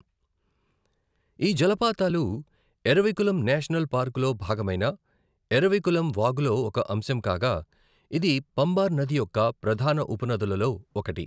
ఈ జలపాతాలు ఎరవికులం నేషనల్ పార్కులో భాగమైన ఎరవికులం వాగులో ఒక అంశం కాగా, ఇది పంబార్ నది యొక్క ప్రధాన ఉపనదులలో ఒకటి.